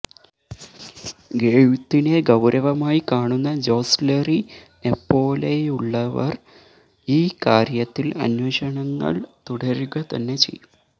എഴുത്തിനെ ഗൌരവമായി കാണുന്ന ജോസ്ലറ്റിനെപ്പോലെയുള്ളവര് ഈ കാര്യത്തില് അന്വേഷണങ്ങള് തുടരുകതന്നെ ചെയ്യും